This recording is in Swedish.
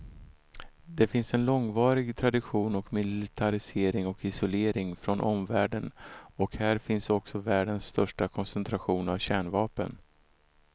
Det finns en långvarig tradition av militarisering och isolering från omvärlden och här finns också världens största koncentration av kärnvapen.